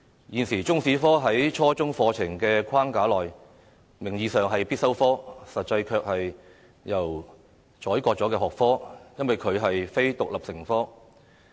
現時中史科在初中課程的框架內，名義上是必修科，實際上卻是任由宰割的學科，因為它並非獨立成科。